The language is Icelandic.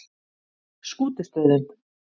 Skútustöðum